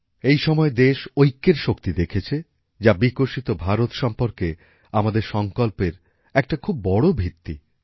এই সময় দেশ ঐক্যের শক্তি দেখেছে যা বিকশিত ভারত সম্পর্কে আমাদের সংকল্পের একটা খুব বড় ভিত্তি